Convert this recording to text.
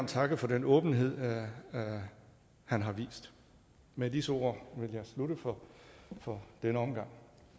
takke for den åbenhed han har vist med disse ord vil jeg slutte for for denne omgang